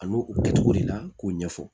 A n'o kɛcogo de la k'o ɲɛfɔ